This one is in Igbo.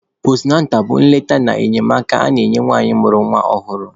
Postunatal bụ nleta na enyemaka a na-enye nwanyị mụrụ nwa ọhụrụ.